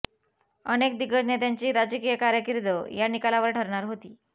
अनेक दिग्गज नेत्यांची राजकीय कारकिर्द या निकालावर ठरणार होती